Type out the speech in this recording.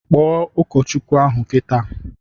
Kpọọ ụkọchukwu ahụ kịta!